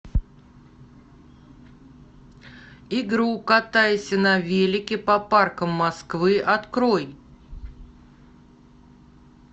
игру катайся на велике по паркам москвы открой